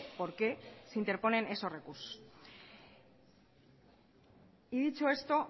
por qué se interponen esos recursos y dicho esto